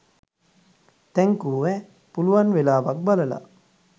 thank you ඈහ් පුලුවන් වෙලාවක් බලලා